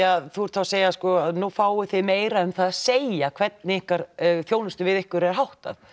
að þú ert að segja að nú fáið þið meira um að segja hvernig þjónustu við ykkur er háttað